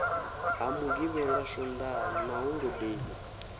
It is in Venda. ha mugivhela swondaha na holodei